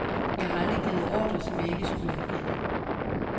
Jeg har aldrig givet ordrer, som jeg ikke skulle have givet.